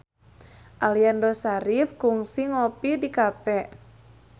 Aliando Syarif kungsi ngopi di cafe